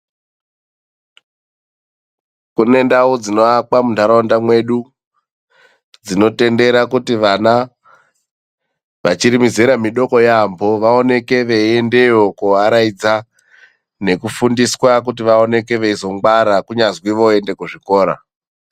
Kune ndau dzinoakwa muntaraunda mwedu, dzinotendera kuti vana vachiri mizera mudoko yaamho vaoneke veiendeyo koaraidza nekufundiswa kuti vaoneke veizongwara kunyazwi voende kuzvikora.